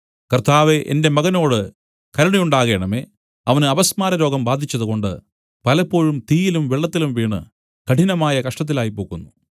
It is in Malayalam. കർത്താവേ എന്റെ മകനോടു കരുണയുണ്ടാകേണമേ അവന് അപസ്മാരരോഗം ബാധിച്ചതു കൊണ്ട് പലപ്പോഴും തീയിലും വെള്ളത്തിലും വീണു കഠിനമായ കഷ്ടത്തിലായ്പോകുന്നു